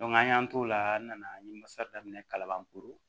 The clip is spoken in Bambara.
an y'an t'o la n nana n ye masa daminɛ kalaban foro